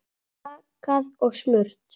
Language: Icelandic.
Bakað og smurt.